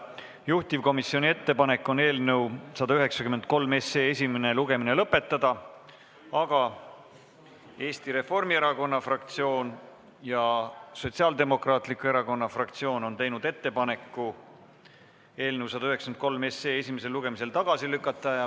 Juhtivkomisjoni ettepanek on eelnõu 193 esimene lugemine lõpetada, aga Eesti Reformierakonna fraktsioon ja Sotsiaaldemokraatliku Erakonna fraktsioon on teinud ettepaneku eelnõu esimesel lugemisel tagasi lükata.